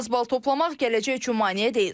Az bal toplamaq gələcək üçün maneə deyil.